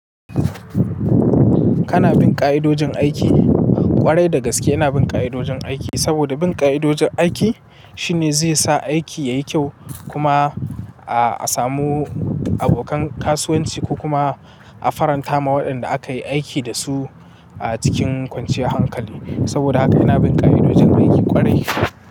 Kana bin ƙa'idojin aiki ƙwarai da gaske ina bin ƙa'idojin aiki saboda bin ƙa'idojin aiki shine zai sa aiki yayi kyau kuma a samu abokan kasuwanci ko kuma a faranta ma waɗanda aka yi aiki dasu a cikin kwanciyar hankali. Saboda haka ina bin ƙa'idojin aiki ƙwarai.